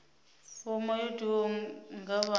fomo yo tiwaho nga vha